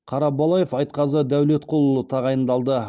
қарабалаев айтқазы дәулетқұлұлы тағайындалды